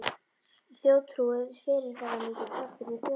Þjóðtrú er fyrirferðamikill þáttur í þjóðfræði.